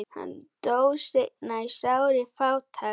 Hann dó seinna í sárri fátækt.